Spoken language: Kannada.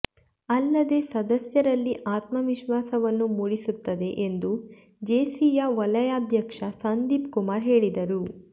ಅಲ್ಲದೆ ಸದಸ್ಯರಲ್ಲಿ ಆತ್ಮವಿಶ್ವಾಸವನ್ನು ಮೂಡಿಸುತ್ತದೆ ಎಂದು ಜೇಸಿಯ ವಲಯಾಧ್ಯಕ್ಷ ಸಂದೀಪ್ ಕುಮಾರ್ ಹೇಳಿದರು